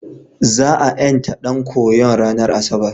Za a ƴanta ɗan koyon ranar Asabar.